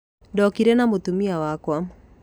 Ndokire na mũtumia wakwa